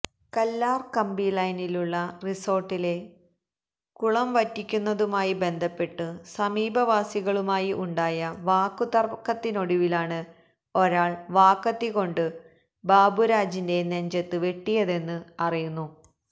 കല്ലാര് കമ്പിലൈനിലുള്ള റിസോര്ട്ടിലെ കുളംവറ്റിക്കുന്നതുമായി ബന്ധപ്പെട്ടു സമീപവാസികളുമായി ഉണ്ടായ വാക്കുതര്ക്കത്തിനൊടുവിലാണു ഒരാള് വാക്കത്തി കൊണ്ടു ബാബുരാജിന്റെ നെഞ്ചത്തു വെട്ടിയതെന്ന് അറിയുന്നു